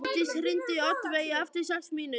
Mánadís, hringdu í Oddveigu eftir sex mínútur.